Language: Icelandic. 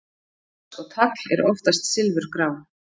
fax og tagl eru oftast silfurgrá